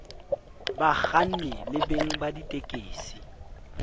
bakganni le beng ba ditekesi